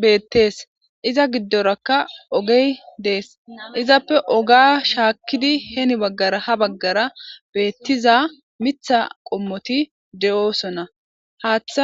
betesi iza gidoraka ogeye desi izape oga shakidi heni bagara hani bagara betiza mitha qomoti de'oson hatha